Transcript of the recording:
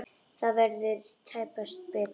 Það verður tæpast betra.